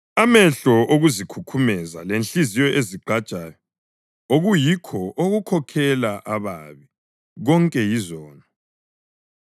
Amehlo okuzikhukhumeza lenhliziyo ezigqajayo, okuyikho okukhokhela ababi, konke yizono!